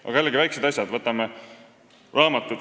Võtame veel väiksed asjad, näiteks raamatud.